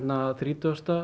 þrítugasti